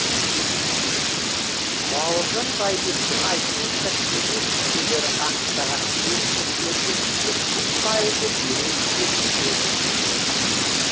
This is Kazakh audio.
бауыржан байбектің айтуынша кеңес мүшелері анықтаған кемшіліктердің жетпіс пайызы дереу түзетілген